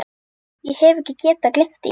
Hef ekki getað gleymt því.